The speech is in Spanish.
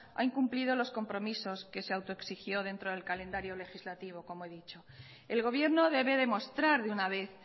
ha incumplido los compromisos que se autoexigió dentro del calendario legislativo como he dicho el gobierno debe demostrar de una vez